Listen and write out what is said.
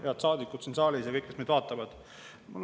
Head saadikud siin saalis ja kõik, kes meid vaatavad!